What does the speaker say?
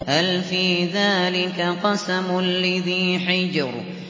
هَلْ فِي ذَٰلِكَ قَسَمٌ لِّذِي حِجْرٍ